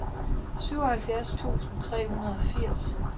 syvoghalvfjerds tusind tre hundrede og firs